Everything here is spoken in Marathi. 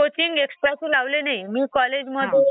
अच्छा आणि सॉलिड फेज ड्राइव्ह?